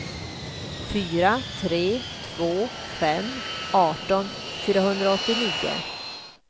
fyra tre två fem arton fyrahundraåttionio